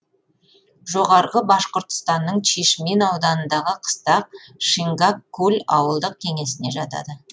жоғарғы башқұртстанның чишмин ауданындағы қыстақ шингак куль ауылдық кеңесіне жатады